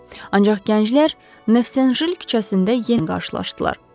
Ancaq gənclər Nevşanjel küçəsində yenidən qarşılaşdılar.